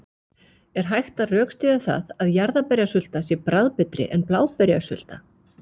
Er hægt að rökstyðja það að jarðarberjasulta sé bragðbetri en bláberjasulta?